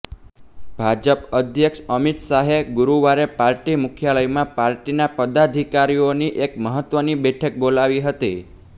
ભાજપ અધ્યક્ષ અમિત શાહે ગુરુવારે પાર્ટી મુખ્યાલયમાં પાર્ટીના પદાધિકારીઓની એક મહત્ત્વની બેઠક બોલાવી હતી